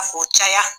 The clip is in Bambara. K'o caya